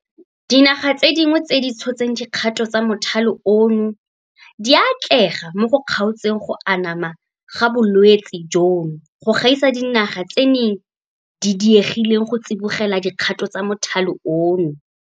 Dinaga tse dingwe tse di tshotseng dikgato tsa mothale ono di a atlega mo go kgaotseng go anama ga bolwetse jono go gaisa dinaga tse di diegileng go tsibogela dikgato tsa mothale ono.